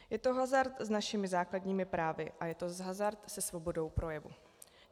Je to hazard s našimi základními právy a je to hazard se svobodou projevu.